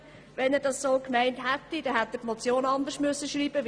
Hätte er das so gemeint, dann hätte er die Motion anders schreiben müssen.